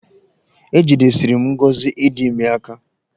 Ejidesiri m ngọzị ịdị ime aka.